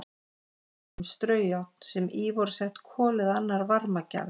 Dæmi um straujárn sem í voru sett kol eða annar varmagjafi.